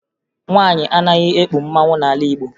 Nwaanyị anaghị ekpu mmanwụ n'ala Igbo